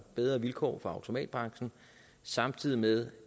bedre vilkår for automatbranchen samtidig med